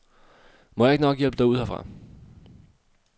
Må jeg ikke nok hjælpe dig ud herfra.